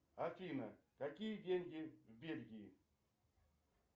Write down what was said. афина какие деньги в бельгии